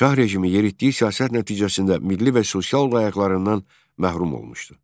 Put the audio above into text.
Şah rejimi yeritdiyi siyasət nəticəsində milli və sosial layəqlərindən məhrum olmuşdu.